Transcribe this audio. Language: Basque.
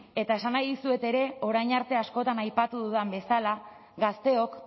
eta esan nahi dizuet ere orain arte askotan aipatu dudan bezala gazteok